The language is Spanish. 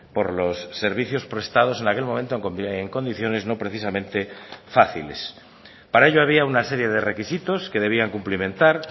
por los servicios prestados en aquel momento en condiciones no precisamente fáciles para ello había una serie de requisitos que debían cumplimentar